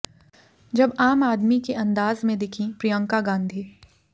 जब आम आदमी के अंदाज में दिखीं प्रियंका गांधी